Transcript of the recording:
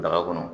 Daga kɔnɔ